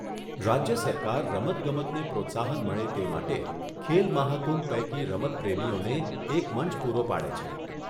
રાજ્યસરકાર રમતગમતને પ્રોત્સાહન મળે તે માટે ખેલમહાકુંભ પૈકી રમતપ્રેમીઓને એક મંચ પૂરું પાડે છે.